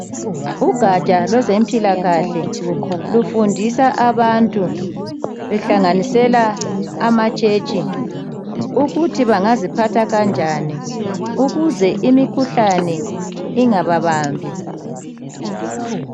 ugatsha lwezempilakahle lufundisa abantu kuhlanganisela ama church ukuthi bangaziphatha kanjani ukuze imikhuhlane ingababambi